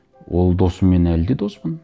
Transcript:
ол досыммен әлі де доспын